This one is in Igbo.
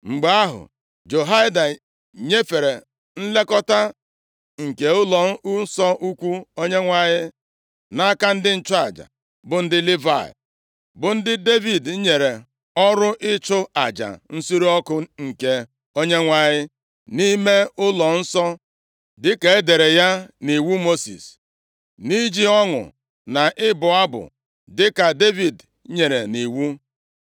Mgbe ahụ, Jehoiada nyefere nlekọta nke ụlọnsọ ukwuu Onyenwe anyị nʼaka ndị nchụaja bụ ndị Livayị, bụ ndị Devid nyere ọrụ ịchụ aja nsure ọkụ nke Onyenwe anyị nʼime ụlọnsọ, dịka e dere ya nʼiwu Mosis, nʼiji ọṅụ na ịbụ abụ dịka Devid nyere nʼiwu.